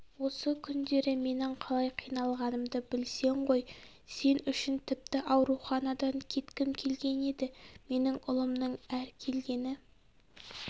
осы күндері менің қалай қиналғанымды білсең ғой сен үшін тіпті ауруханадан кеткім келген еді менің ұлымның әр келгені